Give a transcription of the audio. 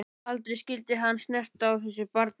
Aldrei skyldi hann snerta á þessu barni.